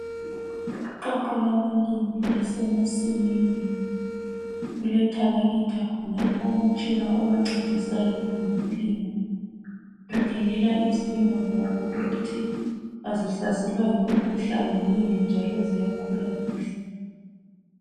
Iqoqo labalimi lisemasimini. Kuletarakitha khonapho umtshina obamcedisayo kwezokulima bakhangela izilimo zabo ukuthi azihlaselwa yimikhuhlane yini njalo ziyakhulaa kuhle.